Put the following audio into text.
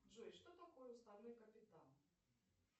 джой что такое уставной капитал